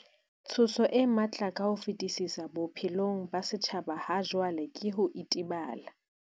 Tshoso e matla ka ho fetisisa bophelong ba setjhaba hajwale ke ho itebala.